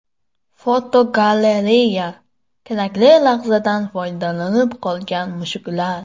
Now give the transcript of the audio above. Fotogalereya: Kerakli lahzadan foydalanib qolgan mushuklar.